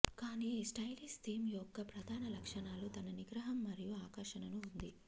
కానీ stylish theme యొక్క ప్రధాన లక్షణాలు తన నిగ్రహం మరియు ఆకర్షణను ఉంది